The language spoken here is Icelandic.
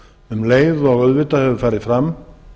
um leið hefur farið fram